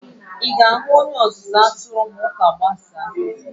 Ị ga-ahụ pastọ ma chọọchị gbasaa?